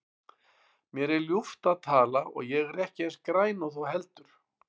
Mér er ljúft að tala og ég er ekki eins græn og þú heldur.